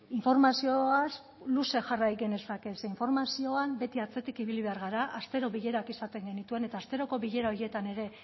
informazioaz luze jarrai genezake ze informazioan beti atzetik ibili behar gara astero bilerak izaten genituen eta asteroko bilera horietan ere